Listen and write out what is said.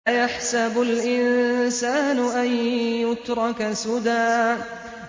أَيَحْسَبُ الْإِنسَانُ أَن يُتْرَكَ سُدًى